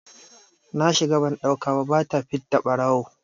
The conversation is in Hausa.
Na shiga ban ɗauka ba, ba ta fidda ɓarawo!